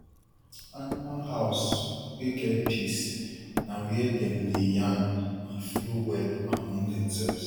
animal house wey get peace na where dem dey yarn and flow well among dem sef